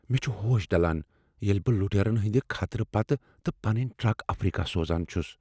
مےٚ چھِ ہوش ڈلان ییٚلہ بہ لوٹرین ہندِ خطرٕ پتہ تہ پننۍ ٹرک افریقہ سوزان چھُس۔